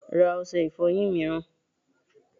Ra ọṣẹ ìfọyín mìíràn!